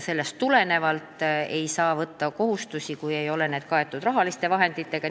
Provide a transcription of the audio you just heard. Ei saa võtta kohustusi, kui need ei ole kaetud rahaliste vahenditega.